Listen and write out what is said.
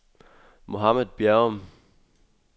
Mohammad Bjerrum